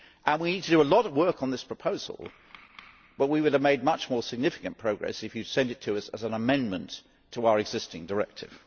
We need to do a lot of work on this proposal, but we would have made much more significant progress if you had sent it to us as an amendment to our existing directive.